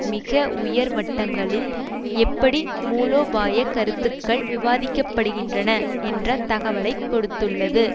மிக உயர் வட்டங்களில் எப்படி மூலோபாய கருத்துக்கள் விவாதிக்க படுகின்றன என்ற தகவலை கொடுத்துள்ளது